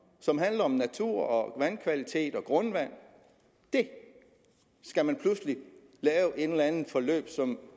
som handler om natur og vandkvalitet og grundvand skal man pludselig lave et eller andet forløb som